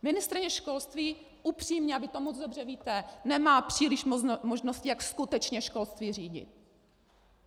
Ministryně školství, upřímně, a vy to moc dobře víte, nemá příliš možností, jak skutečně školství řídit.